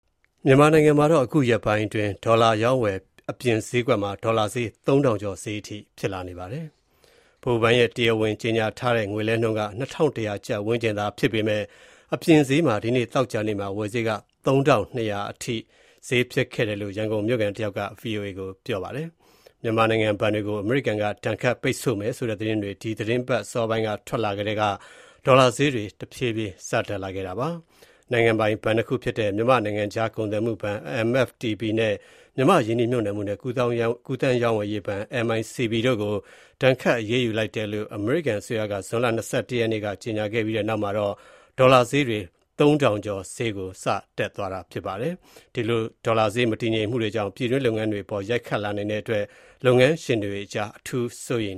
မြန်မာနိုင်ငံမှာ အခုရက်ပိုင်းအတွင်း ဒေါ်လာအရောင်းအဝယ် မှောင်ခိုဈေးကွက်မှာ ဒေါ်လာဈေး ကျပ် ၃၀၀၀ ကျော်ဈေးဖြစ်နေပါတယ်။ ဗဟိုဘဏ်ရဲ့ တရားဝင်ကြေညာထားတဲ့ ငွေလဲနှုန်းက ၂၁၀၀ ကျပ်ဝန်းကျင်ဖြစ်ပေမဲ့ အပြင် မှောင်ခိုဈေးမှာ ဒီနေ့ သောကြာနေ့မှာ ဝယ်ဈေးက ၃၂၀၀ အထိဈေးဖြစ်ခဲ့တယ်လို့ ရန်ကုန်မြို့ခံတယောက်က ဗွီအိုအေကို ပြောပါတယ်။ မြန်မာနိုင်ငံဘဏ်တွေကို အမေရိကန်က ဒဏ်ခတ်ပိတ်ဆို့မယ်ဆိုတဲ့ သတင်းတွေ ဒီသီတင်းပါတ်အစောပိုင်းက ထွက်လာထဲက ဒေါ်လာဈေးတွေ တက်ခဲ့တာပါ။ နိုင်ငံပိုင်ဘဏ်နှစ်ခုဖြစ်တဲ့ မြန်မာ့ နိုင်ငံခြားကုန်သွယ်မှုဘဏ် (MFTB) နဲ့ မြန်မာ့ ရင်းနှီးမြှုပ်နှံမှုနဲ့ ကူးသန်းရောင်းဝယ်ရေးဘဏ် (MICB) တို့ကို ဒဏ်ခတ် အရေးယူလိုက်တယ်လို့ အမေရိကန်အစိုးရက ဇွန်လ ၂၁ ရက်က ကြေညာခဲ့ပြီးနောက်မှာတော့ ဒေါ်လာဈေးတွေ ကျပ် ၃၀၀၀ ကျော်အထိ တက်သွားတာဖြစ်ပါတယ်။ ဒီလို ဒေါ်လာဈေး မတည်ငြိမ်မှုတွေကြောင့် ပြည်တွင်း လုပ်ငန်းတွေအပေါ် ရိုက်ခတ်လာနိုင်တဲ့အတွက် လုပ်ငန်းရှင်တွေအကြား စိုးရိမ်